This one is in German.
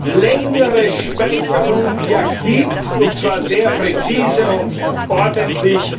ja längere Speicherung gibt, und zwar sehr präzise und ordentlich.